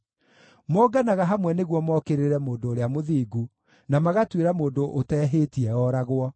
Monganaga hamwe nĩguo mokĩrĩre mũndũ ũrĩa mũthingu, na magatuĩra mũndũ ũtehĩtie ooragwo.